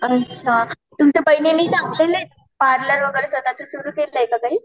अच्छा पार्लर वगैरे स्वतःच सुरु केलंय का कधी?